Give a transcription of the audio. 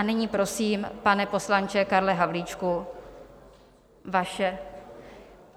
A nyní prosím, pane poslanče Karle Havlíčku, vaše...